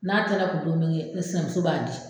N'a ta ne kun don min, ne sinamuso b'a di.